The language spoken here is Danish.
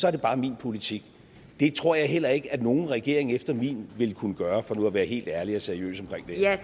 er det bare min politik det tror jeg heller ikke at nogen regering efter min vil kunne gøre for nu at være helt ærlig og seriøs omkring det her